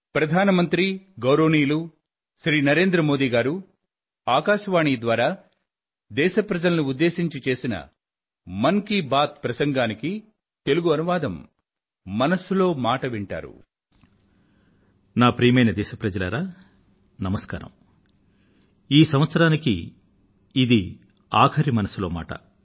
ప్రియమైన నా దేశ వాసులారా నమస్కారం ఈ సంవత్సరానికి ఇది ఆఖరి మనసులో మాట